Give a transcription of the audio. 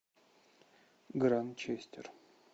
гранчестер